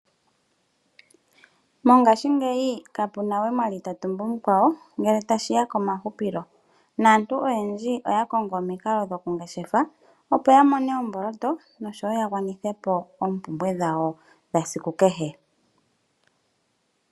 Mongashingeyi ka puna we omwali ta tumbu mukwawo ngele ta shiya ko mahupilo, naantu oyendji oya kongo omikalo dhoku ngeshefa opo ya mone omboloto nosho wo ya gwanithe po oompumbwe dhawo dhesiku kehe.